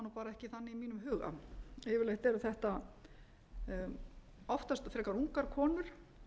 ekki þannig í mínum huga yfirleitt eru þetta oftast frekar ungar konur